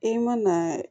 E mana